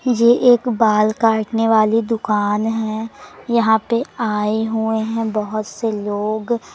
ये एक बाल काटने वाली दुकान है यहां पे आय हुए है बहोत से लोग--